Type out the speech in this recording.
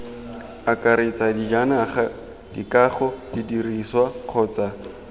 akaretsa dijanaga dikago didirisiwa kgotsa